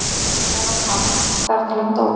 Þar var hann þar til hann dó.